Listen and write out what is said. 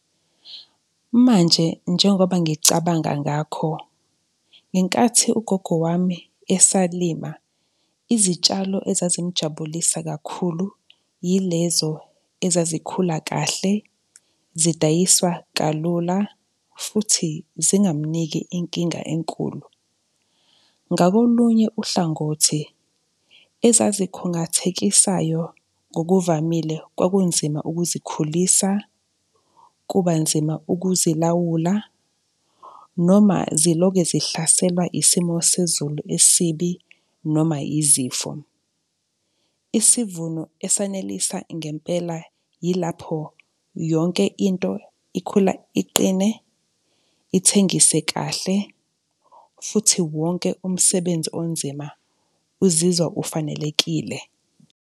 Manje njengoba ngicabanga ngakho ngenkathi ugogo wami esalima, izitshalo ezazimujabulisa kakhulu yilezo ezazikhula kahle, zidayiswa kalula futhi zingamniki inkinga enkulu. Ngakolunye uhlangothi, ezazikhungathekisayo ngokuvamile kwakunzima ukuzikhulisa, kuba nzima ukuzilawula noma ziloke zihlaselwa isimo sezulu esibi noma izifo. Isivuno esanelisa ngempela yilapho yonke into ikhula iqine, ithengise kahle futhi wonke umsebenzi onzima uzizwa ufanelekile.